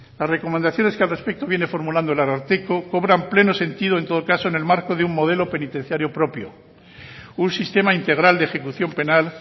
las recomendaciones que al respecto viene formulando el ararteko cobran pleno sentido en todo caso en el marco de un modelo penitenciario propio un sistema integral de ejecución penal